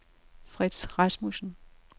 Frits Rasmussen